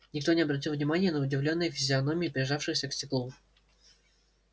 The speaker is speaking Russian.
никто не обратил внимания на удивлённые физиономии прижавшиеся к стеклу